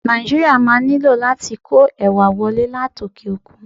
Nàìjíríà máa nílò láti kó ẹ̀wà wọlé láti òkè-òkun.